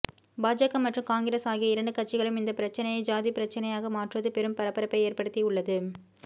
பாஜக மற்றும் காங்கிரஸ் ஆகிய இரண்டு கட்சிகளும் இந்த பிரச்சினையை ஜாதிப் பிரச்சனையாக மாற்றுவது பெரும் பரபரப்பை ஏற்படுத்தி உள்ளது